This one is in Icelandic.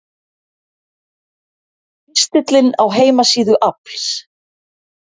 Pistillinn á heimasíðu AFLs